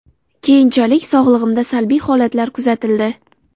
Keyinchalik sog‘ligimda salbiy holatlar kuzatildi.